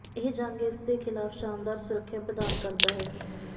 ਇਹ ਜੰਗ ਇਸ ਦੇ ਖਿਲਾਫ ਸ਼ਾਨਦਾਰ ਸੁਰੱਖਿਆ ਪ੍ਰਦਾਨ ਕਰਦਾ ਹੈ